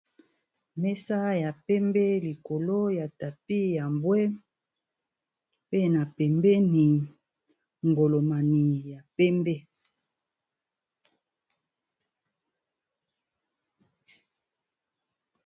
Mesa ya pembe likolo ya tapi ya mbwe pe na pembeni ngolomani ya pembe.